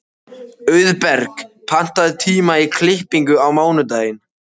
Auðberg, pantaðu tíma í klippingu á mánudaginn.